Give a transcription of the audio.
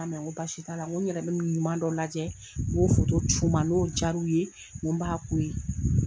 N k'a ma n ko basi tɛ, n yɛrɛ bɛ ɲuman dɔ lajɛ, n ka b'o foto c'i w ma n'o diyara aw ye n ko n b'a k'o ye.